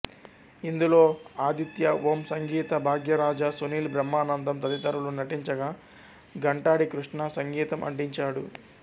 ఇందులో ఆదిత్య ఓం సంగీత భాగ్యరాజా సునీల్ బ్రహ్మానందం తదితరులు నటించగా ఘంటాడి కృష్ణ సంగీతం అందించాడు